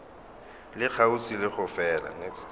le kgauswi le go fela